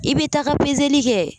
I bɛ taga kɛ